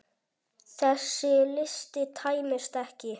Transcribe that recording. Þessi listi tæmist ekki.